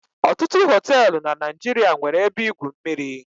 Ọtụtụ hoteelu na Naijiria nwere ebe igwu mmiri